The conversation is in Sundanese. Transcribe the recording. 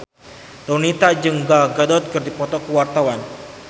Donita jeung Gal Gadot keur dipoto ku wartawan